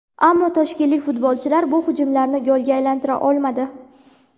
Ammo toshkentlik futbolchilar bu hujumlarni golga aylantira olmadi.